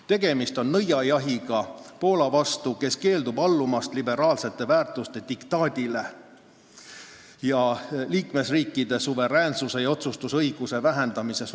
Tegemist on nõiajahiga Poola vastu, kes keeldub allumast liberaalsete väärtuste diktaadile ning liikmesriikide suveräänsuse ja otsustusõiguse vähendamisele.